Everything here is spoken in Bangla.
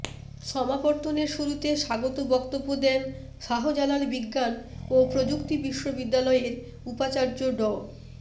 সমাবর্তনের শুরুতে স্বাগত বক্তব্য দেন শাহজালাল বিজ্ঞান ও প্রযুক্তি বিশ্ববিদ্যালয়ের উপাচার্য ড